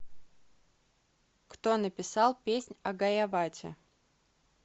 кто написал песнь о гайавате